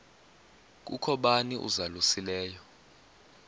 kukho bani uzalusileyo